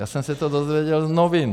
Já jsem se to dozvěděl z novin.